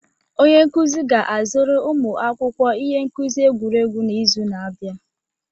Onye nkuzi ga-azụrụ ụmụ akwụkwọ ihe nkuzi egwuregwu n'izu na-abịa.